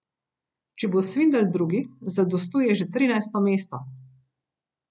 Če bo Svindal drugi, zadostuje že trinajsto mesto.